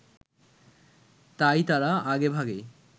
তাই তারা আগে-ভাগেই